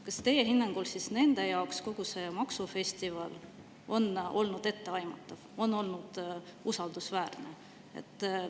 Kas teie hinnangul on nende jaoks kogu see maksufestival olnud etteaimatav ja usaldusväärne?